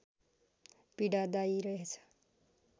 पीडादायी रहेछ